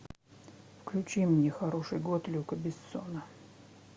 включи мне хороший год люка бессона